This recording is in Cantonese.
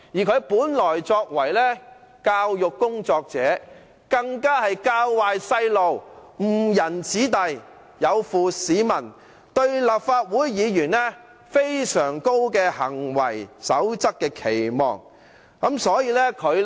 他曾為教育工作者，那樣的行為更"教壞"孩童，誤人子弟，有負市民對立法會議員的行為準則所有的非常高期望。